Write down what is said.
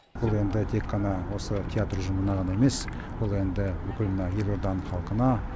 бұл енді тек қана осы театр ұжымына ғана емес бұл енді бүкіл мына елорданың халқына